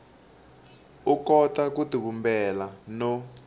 u kota ku tivumbela no